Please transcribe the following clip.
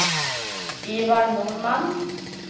Ivar Norman